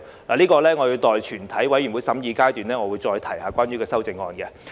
對此，我會在全體委員會審議階段再談及相關修正案。